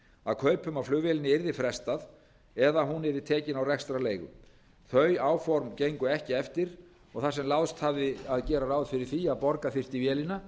að kaupum á flugvélinni yrði frestað eða að hún yrði tekin á rekstrarleigu þau áform gengu ekki eftir og þar sem láðst hafði að gera ráð fyrir því að borga þyrfti vélina